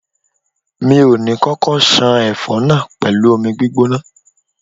Mi ò ní kókó ṣan ẹfọ náà pẹ̀lú omi gbígbóná.